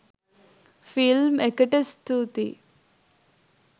Film එකට ස්තූතියි.